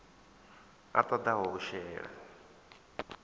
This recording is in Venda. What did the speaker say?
a ṱo ḓaho u shela